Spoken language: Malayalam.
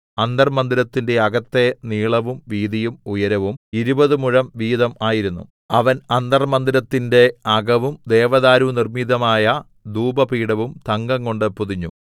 അന്തർമ്മന്ദിരത്തിന്റെ അകത്തെ നീളവും വീതിയും ഉയരവും ഇരുപത് മുഴം വീതം ആയിരുന്നു അവൻ അന്തർമ്മന്ദിരത്തിന്റെ അകവും ദേവദാ‍ാരുനിർമ്മിതമായ ധൂപപീഠവും തങ്കംകൊണ്ട് പൊതിഞ്ഞു